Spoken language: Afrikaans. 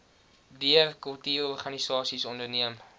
deur kultuurorganisasies onderneem